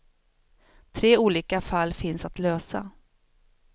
Tre olika fall finns att lösa.